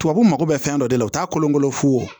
Tubabu mako bɛ fɛn dɔ de la u t'a kolonkolon fo